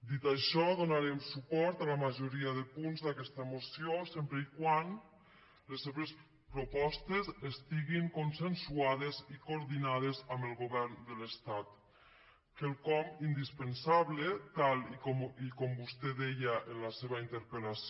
dit això donarem suport a la majoria de punts d’aquesta moció sempre que les seves propostes estiguin consensuades i coordinades amb el govern de l’estat quelcom indispensable tal com vostè deia en la seva interpel·lació